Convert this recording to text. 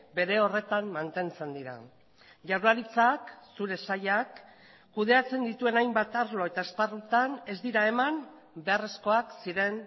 bere horretan mantentzen dira jaurlaritzak zure sailak kudeatzen dituen hainbat arlo eta esparrutan ez dira eman beharrezkoak ziren